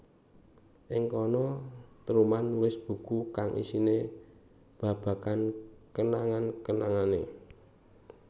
Ing kana Truman nulis buku kang isine babagan kenangan kenangane